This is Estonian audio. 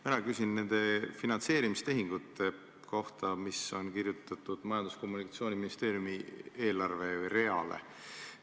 Mina küsin nende finantseerimistehingute kohta, mis on kirjutatud Majandus- ja Kommunikatsiooniministeeriumi eelarvereale.